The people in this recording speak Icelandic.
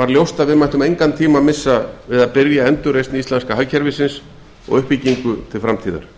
var ljóst að við mættum engan tíma missa við að byrja endurreisn íslenska hagkerfisins og uppbyggingu til framtíðar